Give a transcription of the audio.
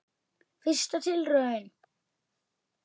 Fyrsta tilraun